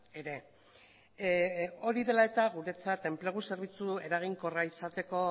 ere hori dela eta guretzat enplegu zerbitzu eraginkorra izateko